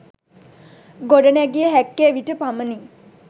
ගොඩනැගිය හැක්කේ එවිට පමණි.